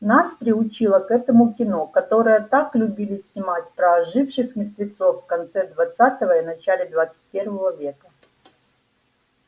нас приучило к этому кино которое так любили снимать про оживших мертвецов в конце двадцатого и начале двадцать первого века